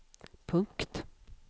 punkt